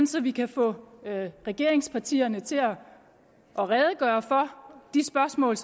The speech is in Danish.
så vi kan få regeringspartierne til at redegøre for de spørgsmål